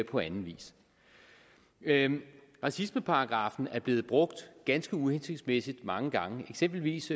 på anden vis racismeparagraffen er blevet brugt ganske uhensigtsmæssigt mange gange eksempelvis